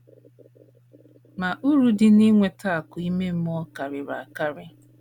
Ma, uru dị n’inweta akụ̀ ime mmụọ karịrị akarị.